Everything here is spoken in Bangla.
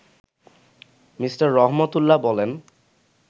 মি: রহমতউল্লাহ বলেন